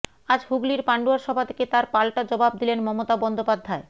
আজ হুগলির পাণ্ডুয়ার সভা থেকে তার পাল্টা জবাব দিলেন মমতা বন্দ্যোপাধ্যায়